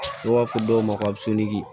N'u b'a fɔ dɔw ma ko